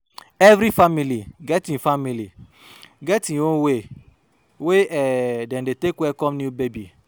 Every family get im family get im own way wey um e dey take welcome new baby.